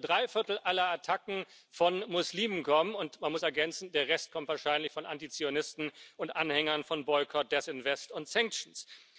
drei Viertel aller Attacken von Muslimen kommen, und man muss ergänzen Der Rest kommt wahrscheinlich von Antizionisten und Anhängern von Boycott, Disinvest and Sanctions.